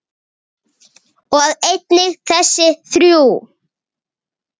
og einnig þessi þrjú